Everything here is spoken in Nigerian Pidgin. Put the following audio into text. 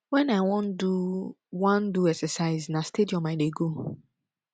wen i wan do wan do exercise na stadium i dey go